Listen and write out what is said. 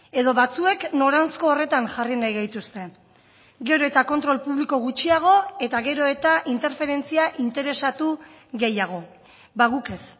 edo batzuek noranzko horretan jarri nahi gaituzte gero eta kontrol publiko gutxiago eta gero eta interferentzia interesatu gehiago ba guk ez